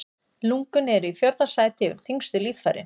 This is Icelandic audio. Lungun eru í fjórða sæti yfir þyngstu líffærin.